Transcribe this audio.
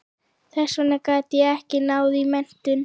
Þess vegna gat ég ekki náð í menntun.